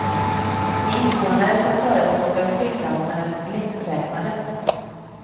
De invånare som förespråkar flygplatsen är lätträknade.